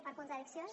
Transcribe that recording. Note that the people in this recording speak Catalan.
per contradiccions